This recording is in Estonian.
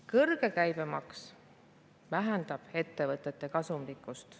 Kõrge käibemaks vähendab ettevõtete kasumlikkust.